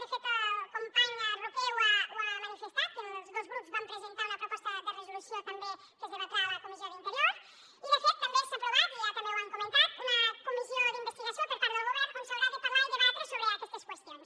de fet el company roqué ho ha manifestat els dos grups van presentar una proposta de resolució també que es debatrà a la comissió d’interior i de fet també s’ha aprovat ja també ho han comentat una comissió d’investigació per part del govern on s’haurà de parlar i debatre sobre aquestes qüestions